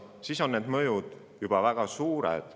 Siis on need mõjud juba väga suured.